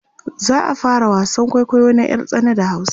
za'a fara wasan kwaikwayo na ƴar tsana da hausa